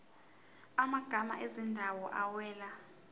amagama ezindawo awela